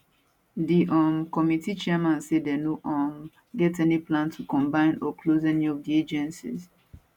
di um committee chairman say dem no um get any plans to combine or close any of di agencies